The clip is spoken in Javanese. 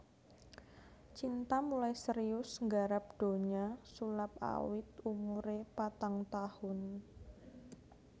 Cinta mulai serius nggarap donya sulap awit umuré patang taun